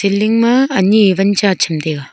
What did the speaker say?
building ma ani wan cha tham taiga.